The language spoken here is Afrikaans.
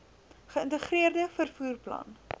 geïntegreerde vervoer plan